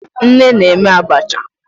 Nne na-eme abacha.